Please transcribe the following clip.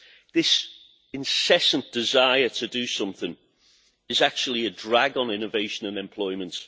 This incessant desire to do something is actually a drag on innovation and employment.